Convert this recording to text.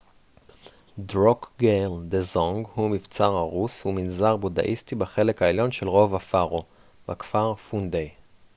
דרוקגייל דזונג הוא מבצר הרוס ומנזר בודהיסטי בחלק העליון של רובע פארו בכפר פונדיי